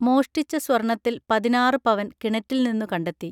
മോഷ്ടിച്ച സ്വർണത്തിൽ പതിനാറ് പവൻ കിണറ്റിൽ നിന്നു കണ്ടെത്തി